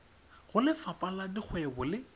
go lefapha la dikgwebo le